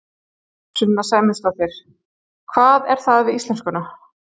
Sunna Sæmundsdóttir: Hvað er það við íslenskuna?